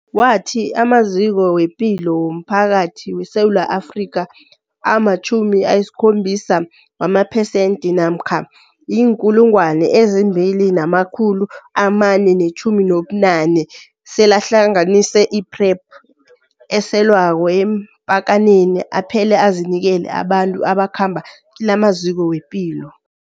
Wathi amaziko wepilo womphakathi weSewula Afrika ama-70 wamaphesenthi namkha azii-2 419 selahlanganise i-PrEP eselwako eempakaneni aphele azinikele abantu abakhamba kilamaziko wezepilo.